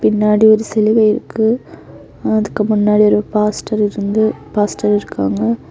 பின்னாடி ஒரு சிலுவை இருக்கு அதுக்கு முன்னாடி ஒரு பாஸ்டர் இருந்து பாஸ்டர் இருக்காங்க.